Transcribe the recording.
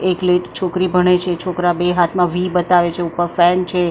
એકલિત છોકરી ભણે છે છોકરા બે હાથમાં વી બતાવે છે ઉપર ફેન છે.